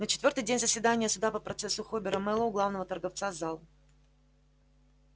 на четвёртый день заседания суда по процессу хобера мэллоу главного торговца зал